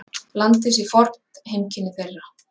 Landið sé fornt heimkynni þeirra.